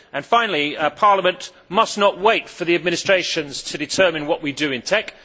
Finally, Parliament must not wait for the Administration to determine what we do in TEC.